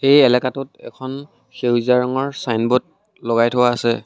এই এলেকাটোত এখন সেউজীয়া ৰঙৰ ছাইনব'ৰ্ড লগাই থোৱা আছে।